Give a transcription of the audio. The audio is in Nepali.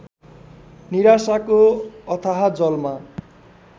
निराशाको अथाह जलमा